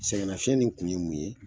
Sɛgɛnnafiɲɛ nin kun ye mun ye